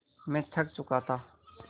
मैं थक चुका था